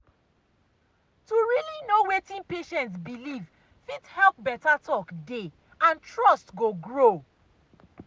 to really know wetin patient believe fit help better talk dey and trust go grow.